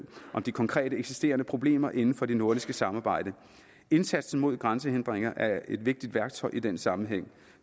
om de konkrete eksisterende problemer inden for det nordiske samarbejde indsatsen mod grænsehindringer er et vigtigt værktøj i den sammenhæng